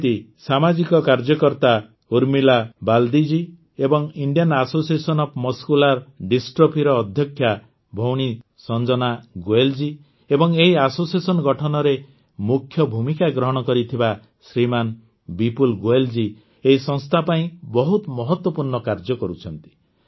ଯେମିତି ସାମାଜିକ କାର୍ଯ୍ୟକର୍ତା ଉର୍ମିଲା ବାଲ୍ଦିଜୀ ଏବଂ Indian association of muscular dystrophy ଅଧ୍ୟକ୍ଷା ଭଉଣୀ ସଂଜନା ଗୋୟଲ ଜୀ ଏବଂ ଏହି ଆସୋସିଏସନ ଗଠନରେ ମୁଖ୍ୟ ଭୂମିକା ଗ୍ରହଣ କରିଥିବା ଶ୍ରୀମାନ୍ ବିପୁଲ୍ ଗୋୟଲ ଜୀ ଏହି ସଂସ୍ଥା ପାଇଁ ବହୁତ ମହତ୍ୱପୂର୍ଣ୍ଣ କାର୍ଯ୍ୟ କରୁଛନ୍ତି